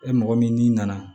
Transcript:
E mɔgɔ min n'i nana